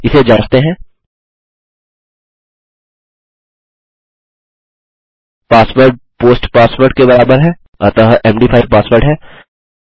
इसे जाँचते हैंpassword पोस्ट पासवर्ड के बराबर है अतः मद5 पासवर्ड है